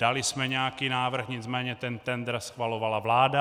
Dali jsme nějaký návrh, nicméně ten tendr schvalovala vláda.